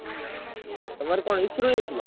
ତମର କଣ issue ରହିଯାଇଥିଲା?